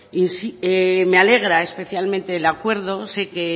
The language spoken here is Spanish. me alegra especialmente el acuerdo sé que